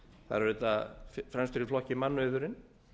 þar er auðvitað fremstur í flokki mannauðurinn